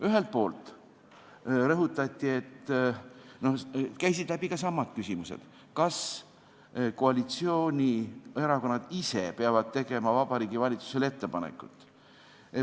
Ühelt poolt rõhutati või esitati samu küsimusi, et kas koalitsioonierakonnad ise peavad tegema Vabariigi Valitsusele ettepanekuid.